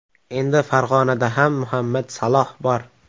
Endi Farg‘onada ham Muhammad Saloh bor.